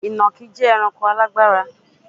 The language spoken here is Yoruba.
Ìnàkí jẹ́ ẹranko alágbára.